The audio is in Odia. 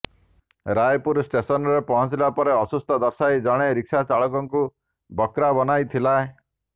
ରାୟପୁର ଷ୍ଟେସନ୍ରେ ପହଞ୍ଚିଲା ପରେ ଅସୁସ୍ଥ ଦର୍ଶାଇ ଜଣେ ରିକ୍ସା ଚାଳକକୁ ବକ୍ରା ବନାଇ ଥିଲେ